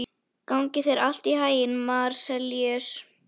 Gangi þér allt í haginn, Marsellíus.